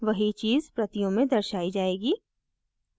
वही चीज़ प्रतियों में दर्शायी जाएगी